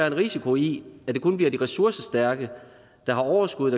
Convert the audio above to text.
en risiko i at det kun bliver de ressourcestærke der har overskud